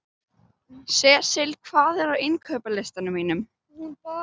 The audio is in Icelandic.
Sesil, hvað er á innkaupalistanum mínum?